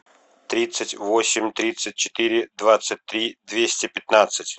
тридцать восемь тридцать четыре двадцать три двести пятнадцать